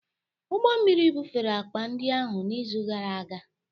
Ụgbọ mmiri bufere akpa ndị ahụ n'izu gara aga